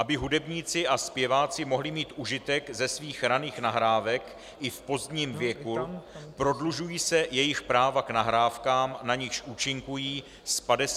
Aby hudebníci a zpěváci mohli mít užitek ze svých raných nahrávek i v pozdním věku, prodlužují se jejich práva k nahrávkám, na nichž účinkují, z 50 na 70 let.